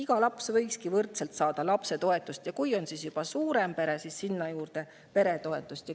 Kõik lapsed võiksidki saada võrdselt lapsetoetust ja kui on juba suurem pere, siis sinna juurde veel ka peretoetust.